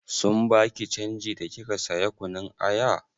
Sun baki canji da kika saya kunun aya?